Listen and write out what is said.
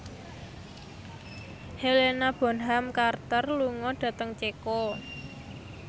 Helena Bonham Carter lunga dhateng Ceko